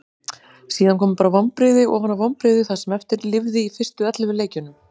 Síðan komu bara vonbrigði ofan á vonbrigði það sem eftir lifði í fyrstu ellefu leikjunum.